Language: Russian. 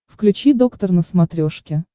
включи доктор на смотрешке